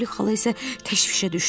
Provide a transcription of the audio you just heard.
Poli xala isə təşvişə düşdü.